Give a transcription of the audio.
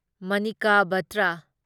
Manika Batra